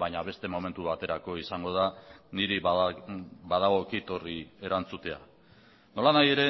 baina beste momentu baterako izango da niri badagokit horri erantzutea nolanahi ere